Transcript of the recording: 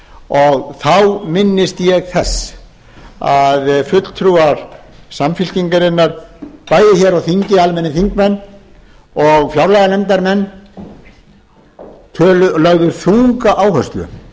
og þá minnist ég þess að fulltrúar samfylkingarinnar bæði hér á þingi almennir þingmenn og fjárlaganefndarmenn lögðu þunga áherslu